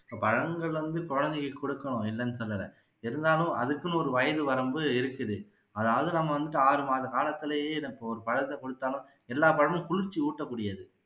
பழங்கள் வந்து கண்டிப்பா குழந்தைக்கு கொடுக்கணும் இல்லன்னு சொல்லல இருந்தாலும் அதுக்குன்னு ஒரு வயது வரம்பு இருக்குது அதாவது நம்ம வந்துட்டு ஆறு மாத காலத்துலயே இத இப்போ ஒரு பழத்தை கொடுத்தாலோ எல்லா பழமும் குளிர்ச்சி ஊட்டக்கூடியது